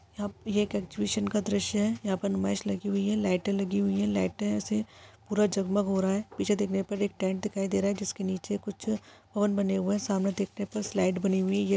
यहाँ ये एक एक्सहिबिशन का दृश्य है यहाँ पर नुमाइश लगी हुई है लाइटे लगी हुई है लाइटे से पूरा जगमग हो रहा है पीछे देखने पर एक टेंट दिखाई दे रहा है जिसके नीचे कुछ हवन बने हुए है सामने देखने पर स्लाईड बनी हुई है।